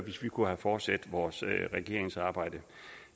hvis vi kunne have fortsat vores regeringsarbejde